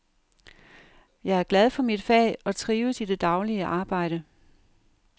Jeg er glad for mit fag og trives i det daglige arbejde.